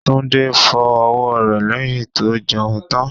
Tunde fọ ọwọ́ rẹ̀ lẹ́yìn tó jẹun tán.